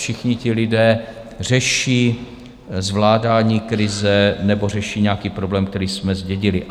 Všichni ti lidé řeší zvládání krize nebo řeší nějaký problém, který jsme zdědili.